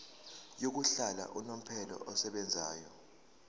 yokuhlala unomphela esebenzayo